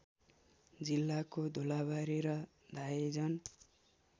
जिल्लाको धुलाबारी र धाइजन